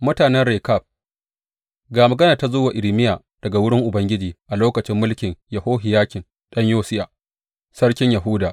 Mutanen Rekab Ga maganar da ta zo wa Irmiya daga wurin Ubangiji a lokacin mulkin Yehohiyakim ɗan Yosiya sarkin Yahuda.